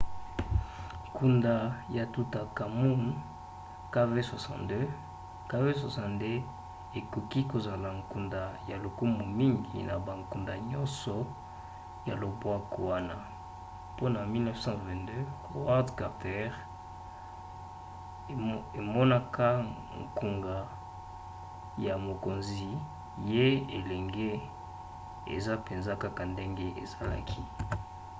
nkunda ya tutankhamun kv62. kv62 ekoki kozala nkunda ya lokumu mingi na bankunda nyonso ya lobwaku wana mpona 1922 howard carter emonaka nkunga ya mokonzi ya elenge eza mpenza kaka ndenge ezalaki